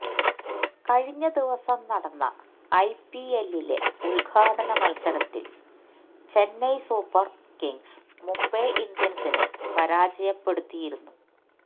കഴിഞ്ഞ ദിവസം നടന്ന ഐപിഎല്ലിലെ ഉദ്ഘാടന മത്സരത്തിൽ ചെന്നൈ സൂപ്പർ കിങ്സ് മുംബൈ ഇന്ത്യൻസിനെ പരാജയപ്പെടുത്തിയിരുന്നു